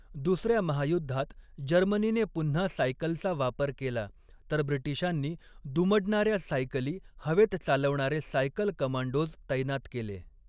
दुसऱ्या महायुद्धात जर्मनीने पुन्हा सायकलचा वापर केला, तर ब्रिटिशांनी दुमडणाऱ्या सायकली हवेत चालवणारे सायकल कमांडोज तैनात केले.